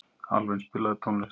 Alvin, spilaðu tónlist.